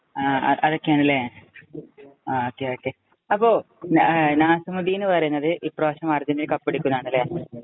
ആ, അതൊക്കെയാണല്ലേ. ആ, ഒകെ, ഒകെ. അപ്പൊ നാസിമുദ്ദീന്‍ പറയുന്നത് ഈ പ്രാവശ്യം അര്‍ജന്‍റീന കപ്പെടുക്കും എന്നാണല്ലേ.